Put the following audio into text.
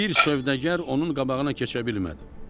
Bir sövdəgər onun qabağına keçə bilmədi.